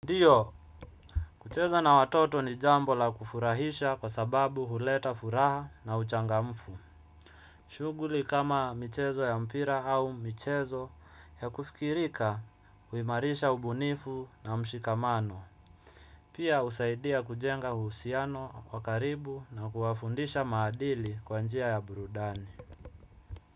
Ndiyo, kucheza na watoto ni jambo la kufurahisha kwa sababu huleta furaha na uchangamfu. Shughuli kama michezo ya mpira au michezo ya kufikirika, huimarisha ubunifu na mshikamano. Pia, husaidia kujenga uhusiano, wa karibu na kuwafundisha maadili kwa njia ya burudani.